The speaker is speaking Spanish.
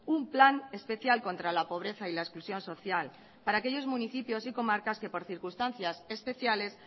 un plan especial contra la pobreza y la exclusión social para aquellos municipios y comarcas que por circunstancias especiales